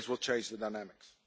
This will change the dynamics.